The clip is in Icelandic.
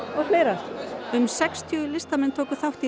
og fleira um sextíu listamenn tóku þátt í